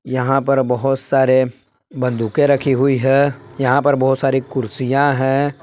यहां पर बहोत सारे बंदूके रखी हुई है यहां पर बहुत सारी कुर्सियां हैं।